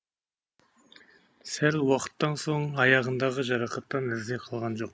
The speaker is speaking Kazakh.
сәл уақыттан соң аяғындағы жарақаттан із де қалған жоқ